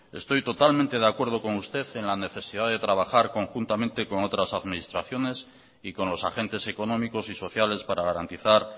estoy totalmente de acuerdo con usted en la necesidad de trabajar conjuntamente con otras administraciones y con los agentes económicos y sociales para garantizar